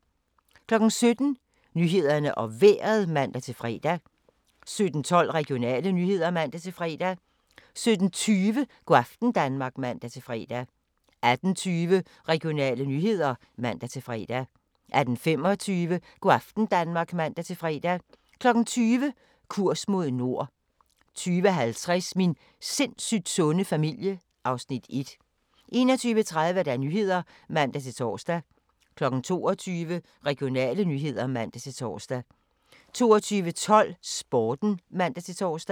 17:00: Nyhederne og Vejret (man-fre) 17:12: Regionale nyheder (man-fre) 17:20: Go' aften Danmark (man-fre) 18:20: Regionale nyheder (man-fre) 18:25: Go' aften Danmark (man-fre) 20:00: Kurs mod nord 20:50: Min sindssygt sunde familie (Afs. 1) 21:30: Nyhederne (man-tor) 22:00: Regionale nyheder (man-tor) 22:12: Sporten (man-tor)